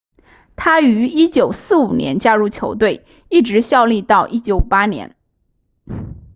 他于1945年加入球队一直效力到1958年